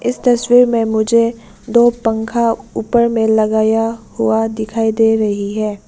इस तस्वीर में मुझे दो पंखा ऊपर में लगाया हुआ दिखाई दे रही है।